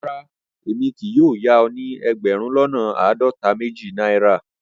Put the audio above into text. Rárá, èmi kì yóò yà o ni ẹgbérùn lọ́nà aádọ́ta-méjì Naira.